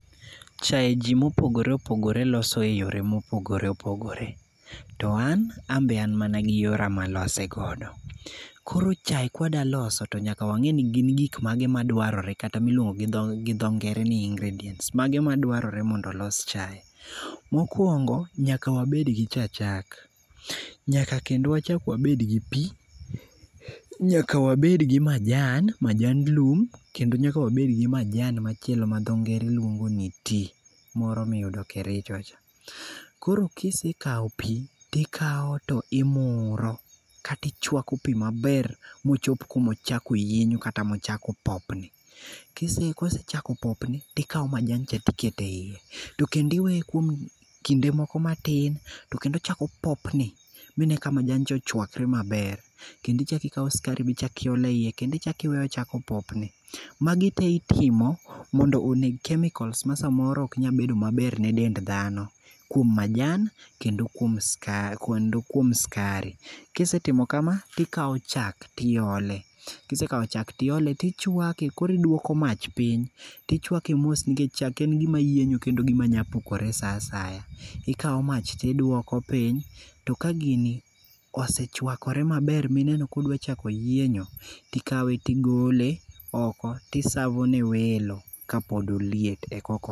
Chae ji mopogore opogore loso eyore mopohgore opogore. To, an be an mana gi yora malosego. Koro chae ka wadwa loso to nyaka wang'e ni gik mage madwarre kata miluongo gi dho ngere ni ingredients mage madwarre mondo olos chae. Mokuongo nyaka wabed gi cha chak, nyaka kendo wachak wabed gi pi. Nyaka wabed gi majan, majand lum, kendo nyaka wabed goi majan machielo ma dho ngere luongo ni tea, moro miyudo Kericho cha. Koro kisekawo pi, to ikawo to imuro kata ichuako pi maber mochop kuma ochako yienyo kata ochako popni. Kosechako popni to ikawo majand cha to iketo eiye. To kendo iweye kuom kinde moko matin to kendo ochako opopni mine ka machand cha ochuakre maber. Kendo ichako ikawo sukari bende iolo eiye. Kendom ichako iweye ochako opopni. Magi te itimo mondo oneg chemicals ma samoro ok nyal bedo maber gi dend dhano, kuom majan kendo kuom sukari. Ka isetimo kama to ikawo chak to iole, kisekawo chak to iole kisekawo chak tiole to ichuake koro iduoko mach piny to ichuake mos nikech chak en gima yienyo kendo manyalo pukre saa asaya. Ikawo mach to iduoko piny, to ka gini ose chuakore maber, mineno ka odwa chako yienyo to ikawe to igole oko to isavo ne welo kapod oliet ekoko.